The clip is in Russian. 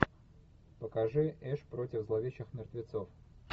покажи эш против зловещих мертвецов